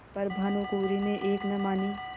पर भानुकुँवरि ने एक न मानी